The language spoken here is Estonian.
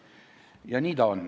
Lisaaega kolm minutit.